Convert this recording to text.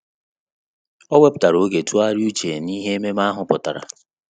Ọ́ wèpụ̀tárà oge tụ́gharị́a úchè n’íhé ememe ahụ pụ́tàrà.